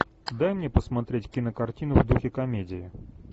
дай мне посмотреть кинокартину в духе комедии